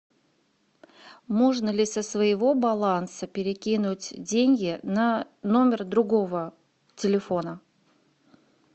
можно ли со своего баланса перекинуть деньги на номер другого телефона